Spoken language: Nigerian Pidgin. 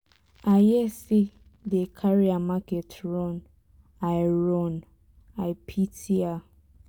i hear say dey carry her market run. i run. i pity her.